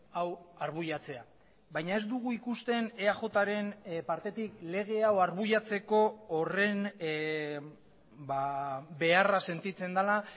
hau arbuiatzea baina ez dugu ikusten eajren partetik lege hau arbuiatzeko horren beharra sentitzen dela